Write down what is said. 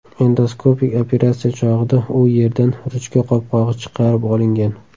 Endoskopik operatsiya chog‘ida u yerdan ruchka qopqog‘i chiqarib olingan.